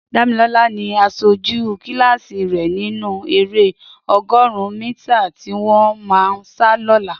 Damilola ni àṣójú kilási rè ninú éré ọgọ́ọ̀run mìtá tiwọn mà sá lọ̀là